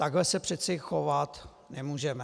Takhle se přece chovat nemůžeme.